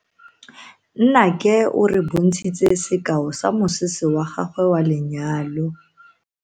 Nnake o re bontshitse sekao sa mosese wa gagwe wa lenyalo.